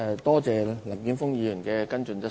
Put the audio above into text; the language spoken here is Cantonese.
多謝林健鋒議員的補充質詢。